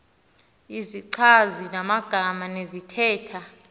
izichazi magama zesithethe